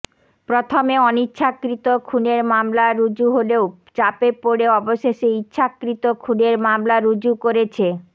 প্রথমে অনিচ্ছাকৃত খুনের মামলা রুজু হলেও চাপে পড়ে অবশেষে ইচ্ছাকৃত খুনের মামলা রুজু করেছে